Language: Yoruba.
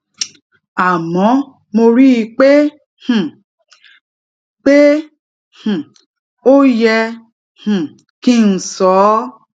àmó mo rí i pé um i pé um ó yẹ um kí n sọ ó